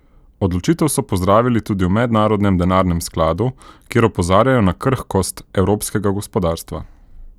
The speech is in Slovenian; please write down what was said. Odločitev so pozdravili tudi v Mednarodnem denarnem skladu, kjer opozarjajo na krhkost evropskega gospodarstva.